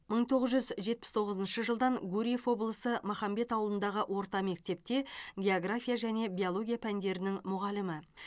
мың тоғыз жүз жетпіс тоғызыншы жылдан гурьев облысы махамбет ауылындағы орта мектепте география және биология пәндерінің мұғалімі